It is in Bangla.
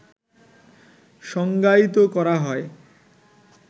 সংজ্ঞায়িত করা হয়